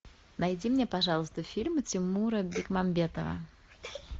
найди мне пожалуйста фильмы тимура бекмамбетова